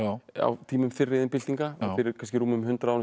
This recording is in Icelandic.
á tímum fyrri iðnbyltinga og fyrir kannski um hundrað árum síðan